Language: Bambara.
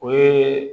O ye